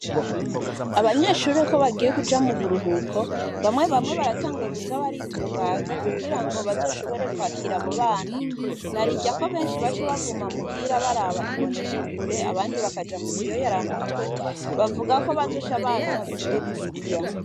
Abanyeshure ko bagiye kuja mu buruhuko bamwe bamwe baratanguwe kuza baritunganya kugira ngo bazoshobore kwakira abobana narirya ko benshi bace baguma muhira baraba imbonesha kure abandi bakaja mu biyoyara mutwe, bavuga ko bazosha baza bige bibiriya.